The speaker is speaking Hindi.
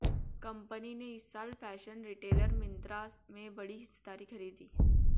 कंपनी ने इस साल फैशन रिटेलर मिंत्रा में बड़ी हिस्सेदारी खरीदी